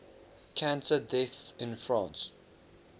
cancer deaths in france